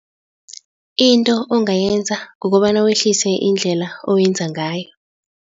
Into ongayenza kukobana wehlise indlela owenza ngayo.